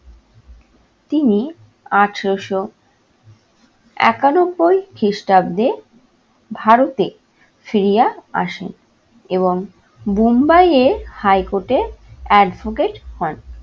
তিনি আঠেরোশো একানব্বই খ্রিস্টাব্দে ভারতে ফিরিয়া আসেন এবং বুম্বাই এ high court এ advocate হন।